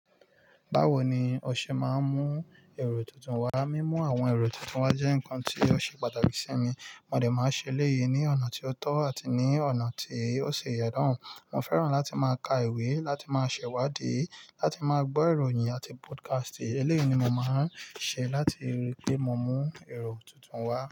Báwo ni o ṣe máa ń mú èrò tuntun wá? Ima mimu àwọn èrò tuntun wá jẹ́ nǹkan tí ó ṣe pàtàkì sí mi. Mo de máa n ṣe eléyìí ní ọ̀nà tí ó tọ́ àti ní ọ̀nà tí ó ṣi ìyen naa. Mo fẹ́ràn láti máa ka ìwé, láti máa ṣẹ̀wádìí, láti máa gbọ́ ìròyìn àti podcast. Eléyìí ni mo máa ń ṣe láti rí pé mo mú èrò tuntun wá.